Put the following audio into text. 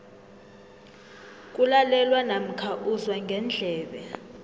kulalelwa namkha uzwa ngendlebe